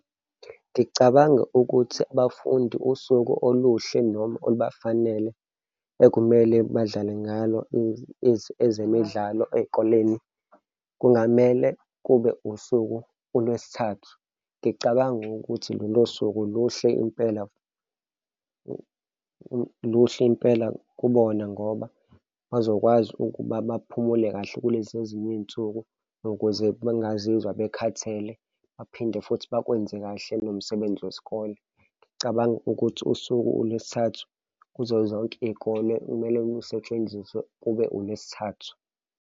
Ngicabanga ukuthi abafundi usuku oluhle noma olubafanele ekumele badlale ngalo ezemidlalo ey'koleni. Kungamele kube usuku uLwesithathu, ngicabanga ukuthi lolo suku luhle impela, luhle impela kubona, ngoba bazokwazi ukuba baphumule kahle kulezi ezinye iy'nsuku ukuze bengazizwa bekhathele baphinde futhi bakwenze kahle nomsebenzi wesikole. Ngicabanga ukuthi usuke uLwesithathu kuzo zonke iy'kole, okumele lisetshenziswe kube uLwesithathu.